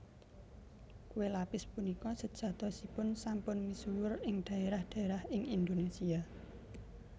Kué lapis punika sejatosipun sampun misuwur ing dhaérah dhaérah ing Indonésia